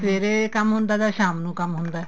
ਸਵੇਰੇ ਕੰਮ ਹੁੰਦਾ ਤਾਂ ਸ਼ਾਮ ਨੂੰ ਕੰਮ ਹੁੰਦਾ